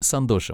സന്തോഷം!